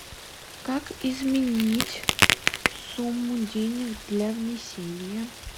как изменить сумму денег для внесения